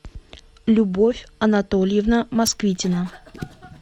любовь анатольевна москвитина